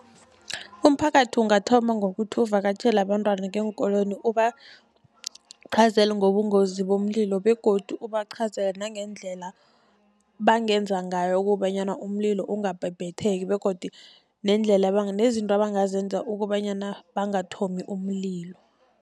Umphakathi ungathoma ngokuthi uvakatjhele abantwana ngeenkolweni, ubaqhazhele ngobungozi bomlilo begodu ubaqhazele nangendlela bangenza ngayo kobanyana umlilo ungabhebhetheki begodu nendlela nezinto abangazenza kobanyana bangathomi umlilo.